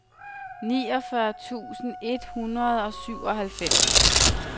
niogfyrre tusind et hundrede og syvoghalvfems